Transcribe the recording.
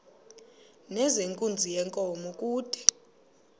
nezenkunzi yenkomo kude